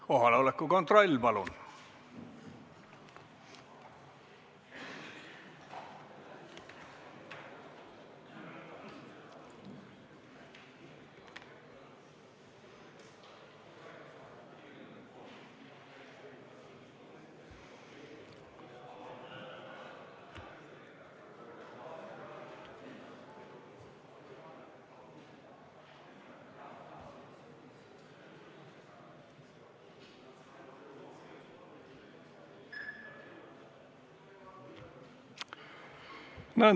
Kohaloleku kontroll, palun!